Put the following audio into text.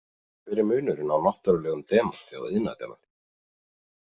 Hver er munurinn á náttúrulegum demanti og iðnaðardemanti?